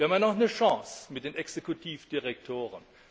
Wir haben noch eine Chance mit den Exekutivdirektoren.